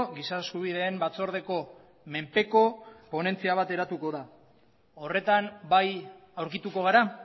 giza eskubideen batzordeko menpeko ponentzia bat eratuko da horretan bai aurkituko gara